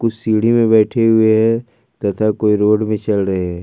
सीढ़ी में बैठे हुए हैं तथा कोई रोड पे चल रहे हैं।